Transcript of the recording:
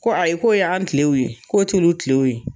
Ko ko y'an kilew ye, k'o t'olu tilew ye.